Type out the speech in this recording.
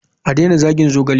A daina zagin zogale.